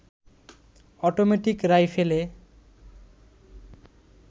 automatic রাইফেলে